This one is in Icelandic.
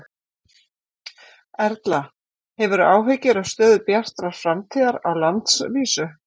Erla: Hefurðu áhyggjur af stöðu Bjartar framtíðar á landsvísu?